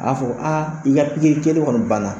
A y'a fɔ aa i ka pikiri kɛlen kɔni banna